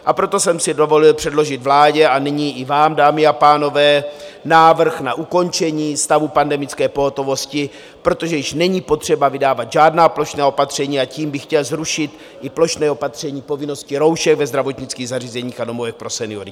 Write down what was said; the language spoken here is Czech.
A proto jsem si dovolil předložit vládě a nyní i vám, dámy a pánové, návrh na ukončení stavu pandemické pohotovosti, protože již není potřeba vydávat žádná plošná opatření, a tím bych chtěl zrušit i plošné opatření povinnosti roušek ve zdravotnických zařízeních a domovech pro seniory.